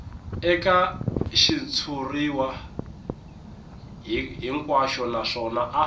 eka xitshuriwa hinkwaxo naswona a